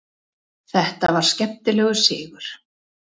Þetta var skemmtilegur sigur.